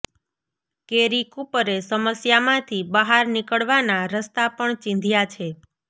કેરી કૂપરે સમસ્યામાંથી બહાર નીકળવાના રસ્તા પણ ચીંધ્યા છે